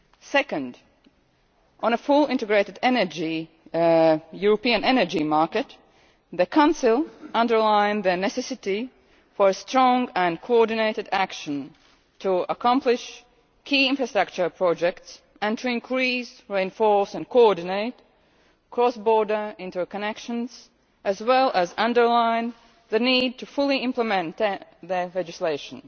Second, on a fully-integrated European energy market, the Council underlined the necessity for strong and coordinated action to accomplish key infrastructure projects and to increase, reinforce and coordinate cross border interconnections, as well as underlined the need to fully implement the legislation.